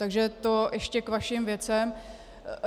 Takže to ještě k vašim věcem.